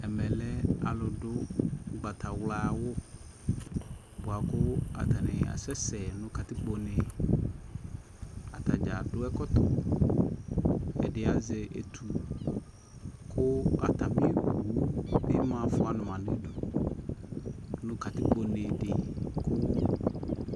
Ɛmɛ lɛ alʋ du ʋgbatawla awʋ boa kʋ atani asɛsɛ nʋ katikpo ne Atadza dʋ ɛkɔtɔ Ɛdi azɛ etu kʋ atami owu bi ma fua ma nʋdu nʋ katikpo ne di kʋ